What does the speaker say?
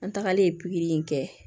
An tagalen pikiri in kɛ